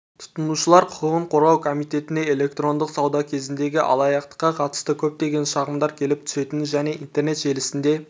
тұтынушылар құқығын қорғау комитетіне электрондық сауда кезіндегі алаяқтыққа қатысты көптеген шағымдар келіп түсетінін және интернет желісінде